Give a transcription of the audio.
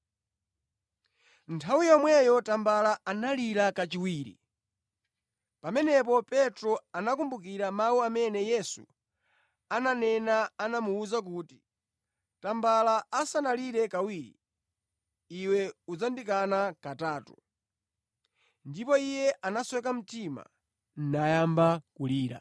Nthawi yomweyo tambala analira kachiwiri. Pamenepo Petro anakumbukira mawu amene Yesu ananena anamuwuza kuti, “Tambala asanalire kawiri, iwe udzandikana katatu.” Ndipo iye anasweka mtima nayamba kulira.